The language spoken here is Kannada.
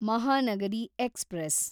ಮಹಾನಗರಿ ಎಕ್ಸ್‌ಪ್ರೆಸ್